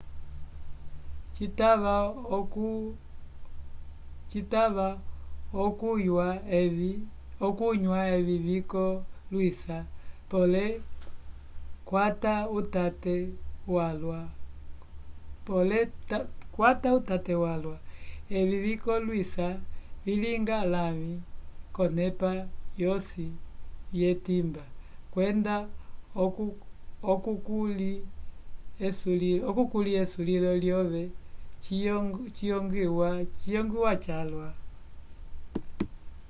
citava okunywa evi vikollwisa pole kwata utate walwa evi vikolwisa vilinga lãvi k'olonepa vyosi vyetimba kwenda okukulĩ esulilo lyove ciyongwiwa calwa